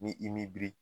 Ni i miri